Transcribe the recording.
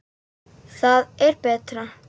Það er bara.